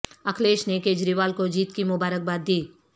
اکھلیش نے کجریوال کو جیت کی مبارک باد دی